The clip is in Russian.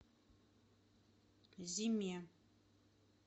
зиме